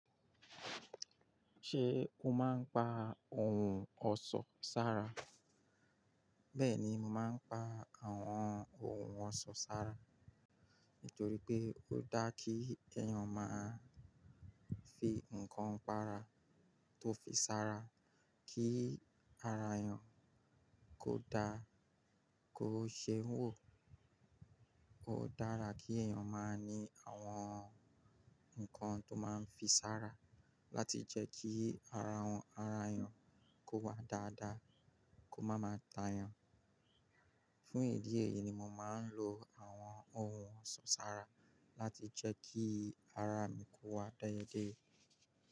Ṣé o máa ń pa ohun ọ̀ṣọ́ sára? Bẹ́ẹ̀ni, mo máa ń pa àwọn ohun ọ̀ṣọ́ sára, nítorí pé ó dá kí ẹ̀yàn máa fi nǹkan para tó fi sára, kí ara èèyàn kó dá, kó ṣe wò. Ó dára kí ẹ̀yàn máa ní àwọn nǹkan tó máa ń fi sára láti jẹ́ kí ara wọn, ara èèyàn kó wà dáadáa, kó má máa ta èèyàn. Fún ìdí èyí ni mo máa ń lo àwọn ohun ọ̀ṣọ́ sára láti jẹ́ kí ara mi kó wà déédéé.